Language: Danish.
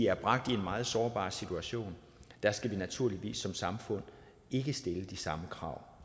er bragt i en meget sårbar situation og der skal vi naturligvis som samfund ikke stille de samme krav